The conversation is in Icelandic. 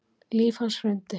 Líf hans hrundi